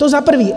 To za prvé.